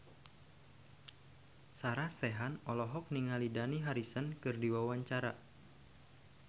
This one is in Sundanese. Sarah Sechan olohok ningali Dani Harrison keur diwawancara